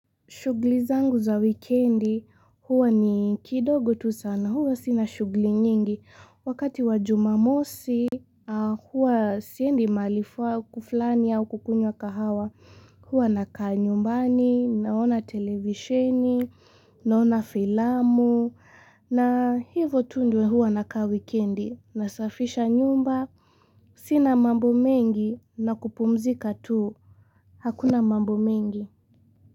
Shughli zangu za wikendi huwa ni kidogo tu sana huwa sina shughli nyingi wakati wa jumamosi huwa siendi mahali faa kuflani au kukunywa kahawa huwa nakaa nyumbani naona televisheni naona filamu na hivyo tu ndo huwa naka wikendi nasafisha nyumba sina mambo mengi na kupumzika tuu hakuna mambo mengi.